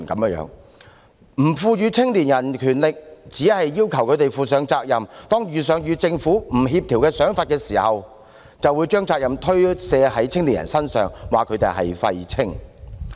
不賦予青年人權力，只是要求他們負上責任，當遇上與政府不協調的想法時，便將責任推卸到青年人身上，說他們是"廢青"。